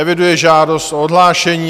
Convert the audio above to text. Eviduji žádost o odhlášení.